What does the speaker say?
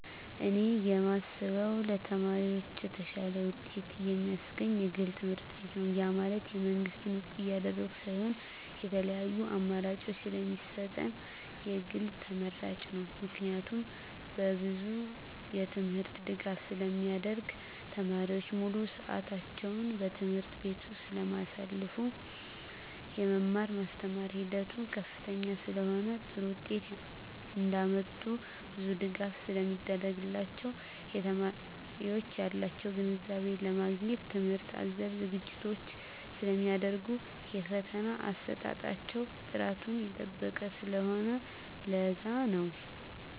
እኔ የማስበው ለተማሪዎች የተሻለ ውጤት የማስገኝ የግል ትምህርትቤት ነው ያ ማለት የመንግስትን ውድቅ እያደረኩ ሳይሆን የተለያዪ አማራጭ ስለሚሰጠን የግል ተመራጭ ነው። ምክንያቱም በብዙ የትምህርት ድጋፍ ስለሚደረግ , ተማሪዎች ሙሉ ስዕታቸውን በትምህርት ቤቱ ስለማሳልፋ , የመማር ማስተማር ሂደቱ ከፍተኛ ስለሆነ ጥሩ ውጤት እንዳመጡ ብዙ ድጋፍ ስለሚደረግላቸው , የተማሪዎች ያላቸውን ግንዛቤ ለማግኘት ትምህርት አዘል ዝግጅቶች ስለሚደረጉ የፈተና አሰጣጣቸው ጥራቱን የጠበቀ ስለሆነ ለዛ ነው